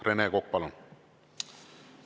Rene Kokk, palun!